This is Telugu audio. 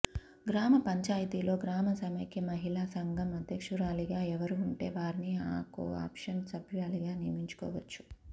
గ్రామ పంచాయితీలో గ్రామ సమైక్య మహిళా సంఘం అధ్యక్షురాలిగా ఎవరూ ఉంటే వారిని కో ఆప్షన్ సభ్యురాలిగా నియమించుకోవచ్చు